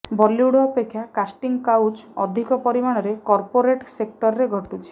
ବଲିଉଡ୍ ଅପେକ୍ଷା casting couch ଅଧିକ ପରିମାଣରେ କର୍ପୋରେଟ୍ ସେକ୍ଟରେ ଘଟୁଛି